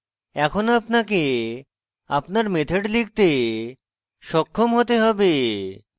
এখন আপনাকে আপনার methods লিখতে সক্ষম হতে হবে